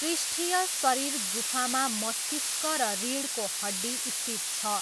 पृष्ठीय शरीर गुफामा मस्तिष्क र रिढको हड्डी स्थित छ।